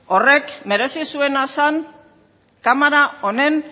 horrek merezi zuena zen kamara honen